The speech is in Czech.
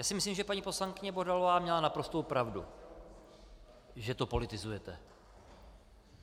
Já si myslím, že paní poslankyně Bohdalová měla naprostou pravdu, že to politizujete.